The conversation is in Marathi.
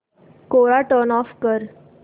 कोरा टर्न ऑफ कर